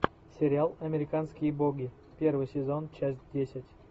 сериал американские боги первый сезон часть десять